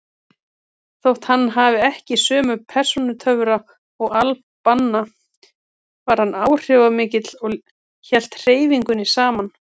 Þótt hann hefði ekki sömu persónutöfra og al-Banna var hann áhrifamikill og hélt hreyfingunni saman.